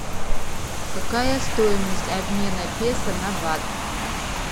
какая стоимость обмена песо на бат